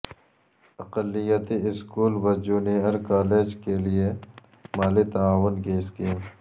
اقلیتی اسکول و junior college کے لئے مالی تعاون کی اسکیم